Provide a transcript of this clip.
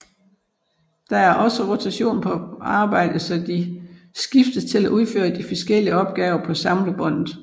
Der er også rotation på arbejdet så de skiftes til at udfører de forskellige opgaver på samlebåndet